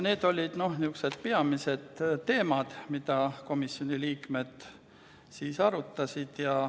Need olid peamised teemad, mida komisjoni liikmed arutasid.